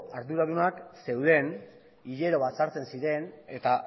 arduradunak zeuden hilero batzartzen ziren eta